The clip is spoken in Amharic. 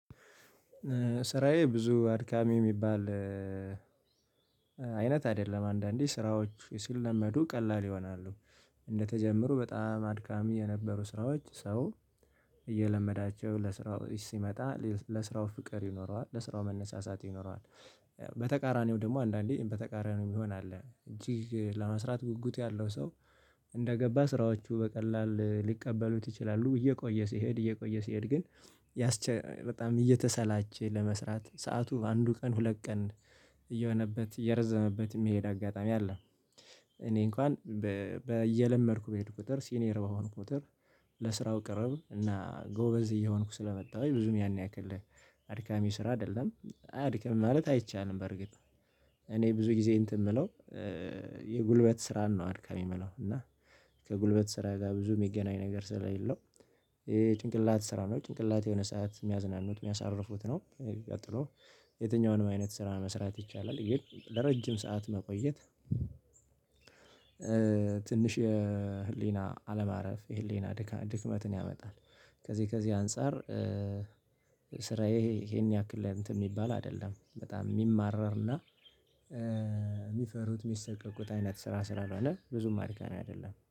ስራዬ ብዙ አድካሚ የሚባል አይነት አይደለም አንዳንዴ ስራዎች ሲለመዱ ቀላል ይሆናሉ። እንደተጀመሩ በጣም አድካሚ የነበሩ ስራዎች ሰው እየለመዳቸው ለስራው ሲመጣ ለስራው ፍቅር ይኖረዋል ለስራው መነሳሳት ይኖረዋል። በተቃራኒው ደግሞ አንዳንዴ በተቃራኒው ይሆናል እጅግ ለመስራት ጉጉት ያለው ሰው እንደገባ ስራዎቹ በቀላሉ ሊቀበሉት ይችላሉ እየቆየ ሲሄድ እየቆየ ሲሄድ ግን ያስቸ በጣም እየተሰላቸ ለመስራት ሰዓቱ አንዱ ቀን ሁለት ቀን እየሆነበት እየረዘመበት የሚሄድ አጋጣሚ አለ። እኔ እንኳን በየለመድኩ በሄድኩ ቁጥር ሲኒየር በሆንኩ ቁጥር ለስራው ቅርብ እና ጎበዝ እየሆንኩ ስለመጣሁኝ ብዙም ያን ያክልህ አድካሚ ስራ አይደለም አያደክመምም ማለት አይቻልም። በርግጥ እኔ ብዙ ጊዜ እንትን የምለው የጉልበት ስራን ነው አድካሚ የምለው እና ከጉልበት ስራ ጋር ብዙ የሚገናኝ ነገር ስለሌለው ጭንቅላት ስራ ነው ጭንቅላት የሆነ ሰዓት የሚያዝናኑት የሚያሳርፉት ነው። ቀጥሎ የትኛውንም አይነት ስራ መስራት ይቻላል ግን ለረጅም ሰዓት መቆየት ትንሽ የህሊና አለማረፍ የህሊና ድካም ድክመትን ያመጣል። ከዚህ ከዚህ አንፃር ስራዬ ይሄን ያክል ላይ እንትን የሚባል አይደለም በጣም የሚማረርና የሚፈሩት የሚሳቀቁት አይነት ስራ ስራ አለ ብዙም አድካሚ አይደለም